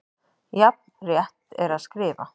Jafn rétt er að skrifa